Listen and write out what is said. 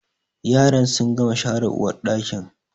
Yaran sun gama share uwarɗakin